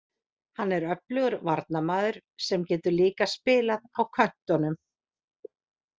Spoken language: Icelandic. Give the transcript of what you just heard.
Hann er öflugur varnarmaður sem getur líka spilað á köntunum.